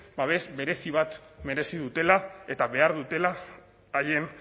babes berezi bat merezi dutela eta behar dutela haien